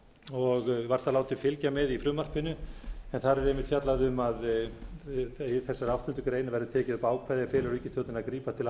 og var það látið fylgja með í frumvarpinu en þar er einmitt fjallað um að í þessari áttundu grein verði tekið upp ákvæði er felur ríkisstjórninni að grípa til